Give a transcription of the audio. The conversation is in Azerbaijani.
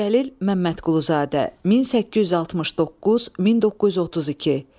Cəlil Məmmədquluzadə, 1869-1932.